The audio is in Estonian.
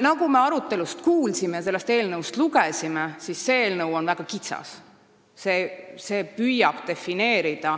Nagu me arutelust kuulsime ja siit ise lugesime, on see eelnõu väga kitsas: see püüab defineerida